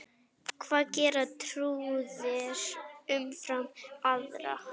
Hvað gera trúaðir umfram aðra?